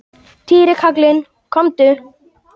Týri kallinn, komdu.